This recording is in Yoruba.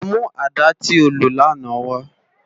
Lò mú àdá ti ó ló làná wâ